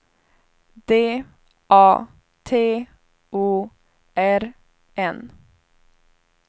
D A T O R N